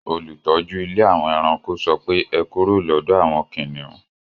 Olùtọ́jú ilé àwon eranko sọpé,"e kúrò lọ́dọ àwon kìnìún